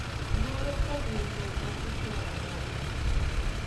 Luor kod winjruok matut nyalo dongo.